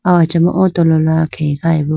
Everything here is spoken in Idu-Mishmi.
aw achama o tolola khege khayi bo.